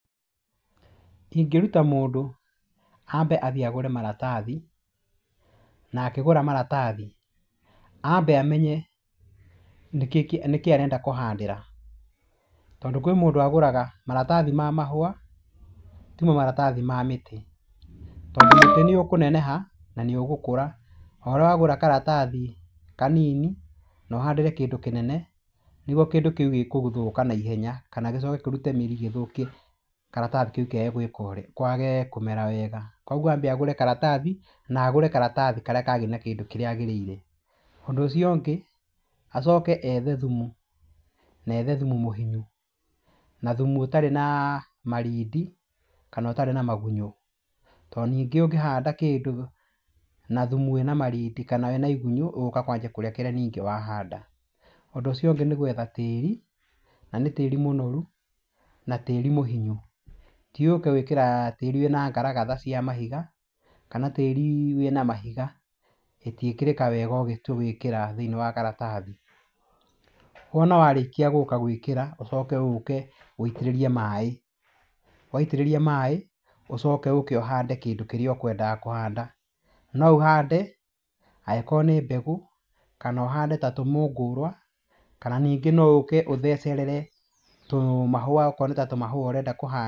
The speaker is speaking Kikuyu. Ingĩruta mũndũ, ambe athiĩ agũre maratathi na akĩgũra maratathi, ambe amenye nĩkĩĩ kĩ , nĩkĩ arenda kũhandĩra, tondũ kwĩ mũndũ agũraga maratathi ma mahũa timo maratathi ma mĩtĩ, tondũ mũtĩ nĩũkũneneha na nĩũgũkũra. O ũrĩa wagũra karatathi kanini na ũhandĩre kĩndũ kĩnene nĩguo kĩndũ kĩu gĩgũthũka naihenya kana gĩcoke kĩrute mĩri gĩthũkie karatathi kĩu kĩage gwĩka ũrĩa kwage kũmera wega, kuoguo ambe agũre karatathi na agũre karatathi karĩa kagĩrĩire na kĩndũ kĩrĩa agĩrĩire. Ũndũ ũcio ũngĩ, acoke ethe thumu, na ethe thumu mũhinyu na thumu ũtarĩ na marindi kana ũtarĩ na magunyũ, tondũ ningĩ ũngĩhanda kĩndũ na thumu wĩna marindi kana wĩna igunyũ, ũgũka kwanjia kũrĩa kĩrĩa ningĩ wahanda. Ũndũ ũcio ũngĩ nĩ gwetha tĩri, na nĩ tĩri mũnoru, na tĩri mũhinyu. Ti ũke gwĩkĩra tĩri wĩna ngaragatha cia mahiga, kana tĩri wĩna mahiga, ĩtiĩkĩrĩka wega ũgĩtua gũĩkĩra thĩiniĩ wa karatathi. Wona warĩkia gũka gwĩkĩra, ũcoke ũke wĩitĩrĩrie maĩ. Waitĩrĩria maĩ, ũcoke ũke ũhande kĩndũ kĩrĩa ũkwendaga kũhanda. No ũhande angĩkorwo nĩ mbegũ, kana ũhande ta tũmũngũrwa kana ningĩ no ũke ũthecerere tũmahũa akorwo nĩ ta tũmahũa ũrenda kũhanda.